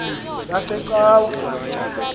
yasecawa